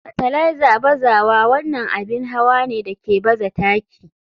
Fartiliser bazawa wannan abin hawa ne da ke baza taki.